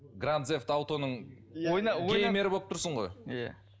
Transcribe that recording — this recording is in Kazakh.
гран зев далтоның геймеры болып тұрсың ғой иә